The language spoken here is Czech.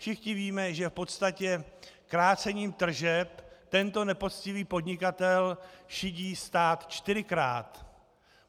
Všichni víme, že v podstatě krácením tržeb tento nepoctivý podnikatel šidí stát čtyřikrát.